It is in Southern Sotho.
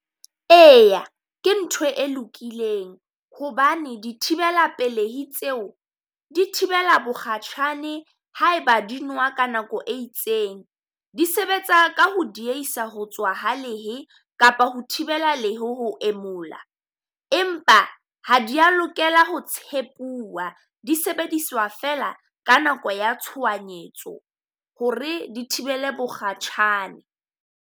Eya ke ntho e lokileng hobane di thibella pelehi tseo, di thibela bokgatjhane ha e ba di nowa ka nako e itseng. Di sebetsa ka ho diehisa ho tswa ha lehe kapa ho thibela lehe ho emolla. Empa ha di a lokela ho tshepuwa, di sebediswa fela ka nako ya tshohanyetso ho re di thibele mokgatjhane.